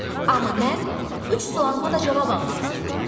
Amma mən üç sualıma da cavab almaq istəyirəm.